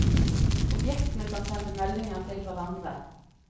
Objektene kan sende meldinger til hverandre.